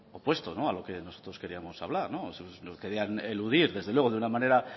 opuesto a lo que nosotros queríamos hablar lo querían eludir desde luego de una manera